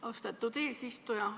Austatud eesistuja!